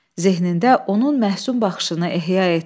Zehnində onun məhsün baxışını ehya etdi.